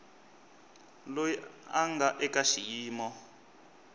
loyi a nga eka xiyimo